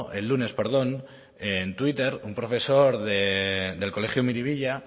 el lunes en twitter un profesor el colegio miribilla